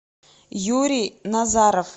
юрий назаров